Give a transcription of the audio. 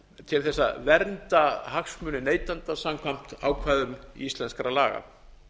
til þess að vernda hagsmuni neytenda samkvæmt ákvæðum íslenskra laga